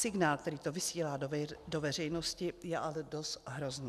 Signál, který to vysílá do veřejnosti, je ale dost hrozný.